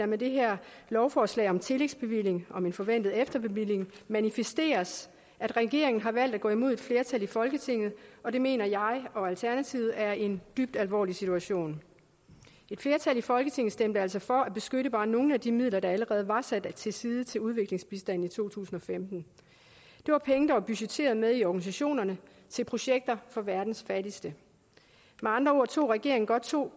med det her lovforslag om en tillægsbevilling om en forventet efterbevilling manifesteres at regeringen har valgt at gå imod et flertal i folketinget og det mener jeg og alternativet er en dybt alvorlig situation et flertal i folketinget stemte altså for at beskytte bare nogle af de midler der allerede var sat til side til udviklingsbistand i to tusind og femten det var penge der var budgetteret med i organisationerne til projekter for verdens fattigste med andre ord tog regeringen godt to